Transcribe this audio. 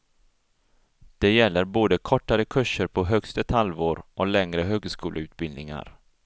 Det gäller både kortare kurser på högst ett halvår och längre högskoleutbildningar.